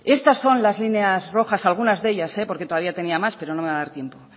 estas son las líneas rojas algunas de ellas porque todavía tenía más pero no me va a dar tiempo